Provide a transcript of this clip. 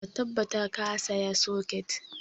Ka tabbata ka saya socket!